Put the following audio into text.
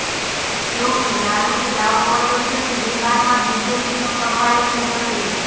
જો કે લાલૂએ દાવો કર્યો છે કે બિહારમાં બીજેપીનો સફાયો થઈ જશે